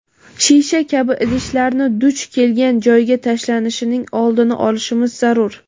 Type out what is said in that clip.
shisha kabi idishlarni duch kelgan joyga tashlanishining oldini olishimiz zarur.